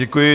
Děkuji.